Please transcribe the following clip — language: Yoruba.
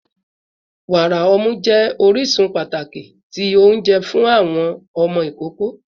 Wara ọmu jẹ orisun pataki ti ounjẹ fun awọn ọmọ ikoko